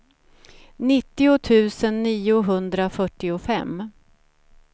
nittio tusen niohundrafyrtiofem